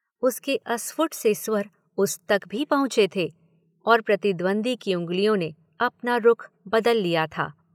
उसके अस्फ़ुट से स्वर उस तक भी पहुंचे थे और प्रतिद्वंद्वी की उंगलियों ने अपना रुख बदल लिया था।